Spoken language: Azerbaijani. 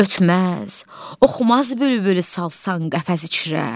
Ötməz, oxumaz bülbül salsan qəfəs içrə.